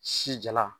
Si jala